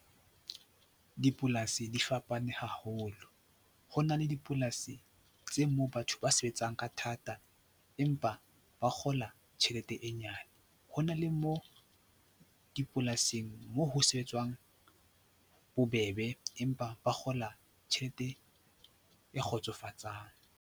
Dipolasi di fapane haholo. Ho na le dipolasi tse moo batho ba sebetsang ka thata empa ba kgola tjhelete e nyane. Ho na le moo dipolasing mo ho sebetswang bobebe empa ba kgola tjhelete e kgotsofatsang.